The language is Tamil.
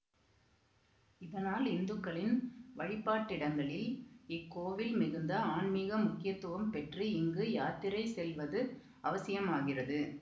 இதனால் இந்துக்களின் வழிபாட்டிடங்களில் இக்கோவில் மிகுந்த ஆன்மீக முக்கியத்துவம் பெற்று இங்கு யாத்திரை செல்வது அவசியமாகிறது